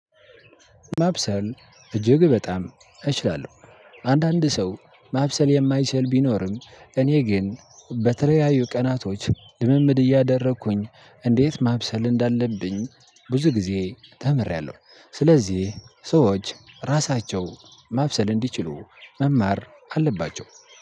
ማብሰል እጅግ በጣም እችላለሁ። አንዳንድ ሰው ማብሰል የማይችል ቢኖርም እኔ ግን በተለያዩ ቀናቶች ልምምድ እያደረኩኝ እንዴት ማብሰል እንዳለብኝ ብዙ ጊዜ ተምሬያለሁ። ስለዚህ ሰዎች ራሳቸው ማብሰል እንዲችሉ መማር አለባቸው።